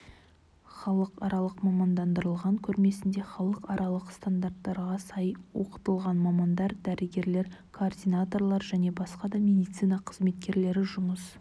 халықаралық мамандандырылған көрмесінде халықаралық стандарттарға сай оқытылған мамандар дәрігерлер координаторлар және басқа да медицина қызметкерлері жұмыс